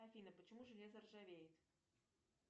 афина почему железо ржавеет